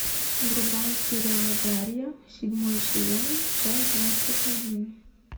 врубай сериал дарья седьмой сезон часть двадцать один